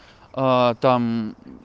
аа там